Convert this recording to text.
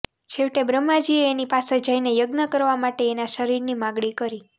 છેવટે બ્રહ્માજીએ એની પાસે જઈને યજ્ઞ કરવા માટે એના શરીરની માગણી કરી